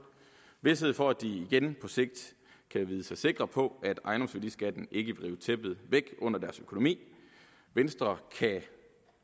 vished for at de igen på sigt kan vide sig sikre på at ejendomsværdiskatten ikke vil rive tæppet væk under deres økonomi venstre kan